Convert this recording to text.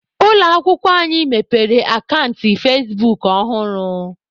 Ụlọ akwụkwọ anyị mepere akant fazebuk ọhụrụ